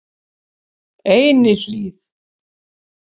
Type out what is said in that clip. Einihlíð